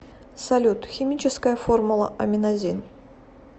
салют химическая формула аминазин